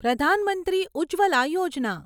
Pradhan Mantri Ujjwala Yojana